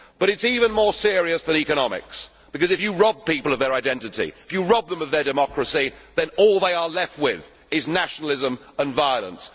more. But it is even more serious than economics, because if you rob people of their identity, if you rob them of their democracy, then all they are left with is nationalism and violence.